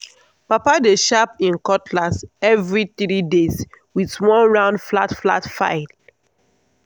papa dey sharp him cutlass every three days with one round flat flat file.